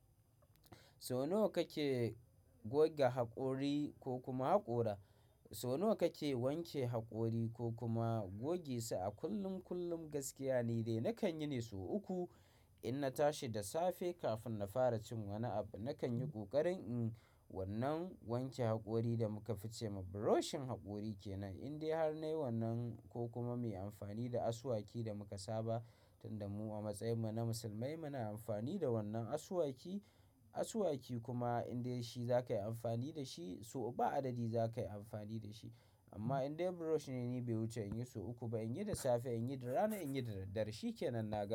So nawa kake goge haƙori ko kuma haƙora, so nawa kake wanke haƙori ko kuma goge su a kullum kullum gaskiya ni dai. Nakan yi ne sau uku, in na tashi da safe kafin na fara cin wani abu. Nakan yi ƙoƙarin in wannan wanke haƙori da muka fi ce ma brushing haƙori kenan. Indai har nai wannan ko kuma mai amfani da asuwaki da muka saba tunda mu a matsayin mu na musulmai muna amfani da wannan asuwaki. Asuwaki kuma indai shi za ka yi amfani da shi, so ba adadi za ka yi amfani da shi. Amma indai brush ne, ni bai wuce in yi sau uku ba. In yi da safe, in yi da rana, in yi da dare. Shi kenan na.